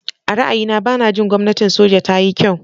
A ra'ayina, ba na jin gwamnatin soja ta yi kyau.